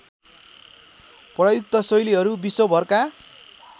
प्रयुक्त शैलीहरू विश्वभरका